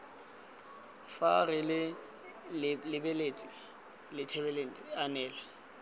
fa re lebeletse thelebišene anela